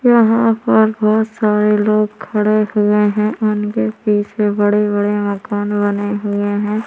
यहाँ पर बहोत सारे लोग खड़े हुए है। उनके बीच मे बड़े-बड़े मकान बने हुए है।